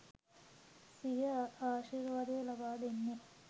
සිය ආශිර්වාදය ලබා දෙන්නේ.